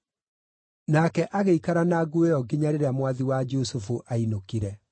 Nake agĩikara na nguo ĩyo nginya rĩrĩa mwathi wa Jusufu aainũkire.